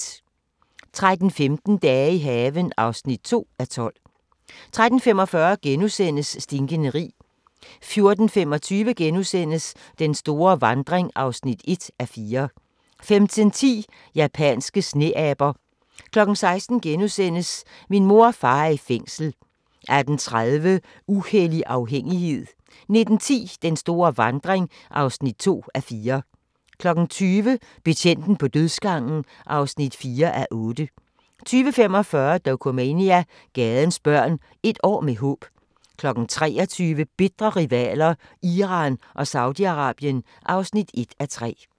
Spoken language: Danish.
13:15: Dage i haven (2:12) 13:45: Stinkende rig * 14:25: Den store vandring (1:4)* 15:10: Japanske sneaber 16:00: Min mor og far er i fængsel * 18:30: Uhellig afhængighed 19:10: Den store vandring (2:4) 20:00: Betjenten på dødsgangen (4:8) 20:45: Dokumania: Gadens børn – et år med håb 23:00: Bitre rivaler: Iran og Saudi-Arabien (1:3)